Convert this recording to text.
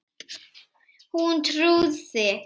Hún trúði